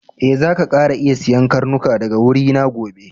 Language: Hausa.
E, zaka kara iya siyan karnuka daga wurina gobe.